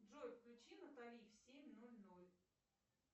джой включи натали в семь ноль ноль